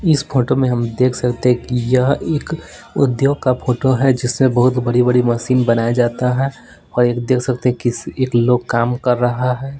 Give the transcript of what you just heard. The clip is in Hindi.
इस फोटो में हम देख सकते हैं कि यह एक उद्योग का फोटो है जिसमें बहोत बड़ी-बड़ी मशीन बनाया जाता है और एक देख सकते हैं किसी एक लोग काम कर रहा है।